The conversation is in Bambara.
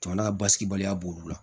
Jamana ka basigi baliya b' olu la